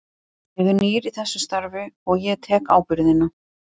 Ég er nýr í þessu starfi og ég tek ábyrgðina.